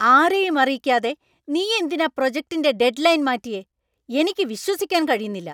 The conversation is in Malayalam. ആരെയും അറിയിക്കാതെ നീയെന്തിനാ പ്രൊജക്റ്റിൻ്റെ ഡെഡ്‌ലൈൻ മാറ്റിയെ? എനിക്ക് വിശ്വസിക്കാൻ കഴിയുന്നില്ല.